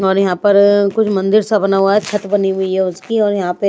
और यहाँ पर अ अ कुछ मंदिर सा बना हुआ है छत बनी हुई है उसकी और यहाँ पे--